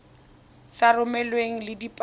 sa romelweng mmogo le dikopo